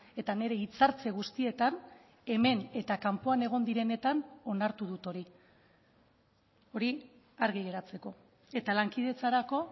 eta nire hitzartze guztietan hemen eta kanpoan egon direnetan onartu dut hori hori argi geratzeko eta lankidetzarako